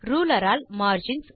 ruler all margins